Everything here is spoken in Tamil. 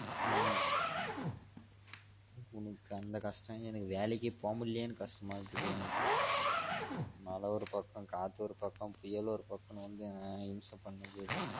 உனக்கு அந்த கஷ்டம் எனக்கு வேலைக்கே போக முடியலயேன்னு கஷ்டமா இருக்குது எனக்கு மழ ஒரு பக்கம் காத்து ஒரு பக்கம் புயல் ஒரு பக்கொம்னு வந்து ஆஹ் இம்ச பண்ணுது அது